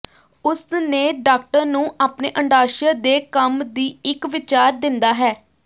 ਉਸ ਨੇ ਡਾਕਟਰ ਨੂੰ ਆਪਣੇ ਅੰਡਾਸ਼ਯ ਦੇ ਕੰਮ ਦੀ ਇੱਕ ਵਿਚਾਰ ਦਿੰਦਾ ਹੈ